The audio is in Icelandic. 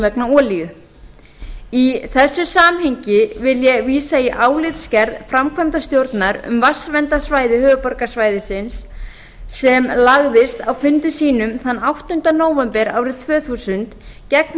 vegna olíu í þessu samhengi vil ég vísa í álitsgerð framkvæmdastjórnar um vatnsverndarsvæði höfuðborgarsvæðisins sem lagðist á fundi sínum þann áttunda nóvember árið tvö þúsund gegn